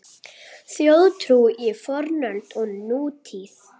Þjóðtrú í fornöld og nútíð